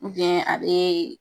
a be